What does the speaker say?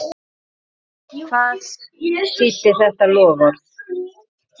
Hvað þýddi þetta loforð?